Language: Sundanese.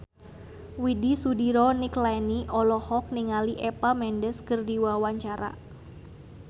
Widy Soediro Nichlany olohok ningali Eva Mendes keur diwawancara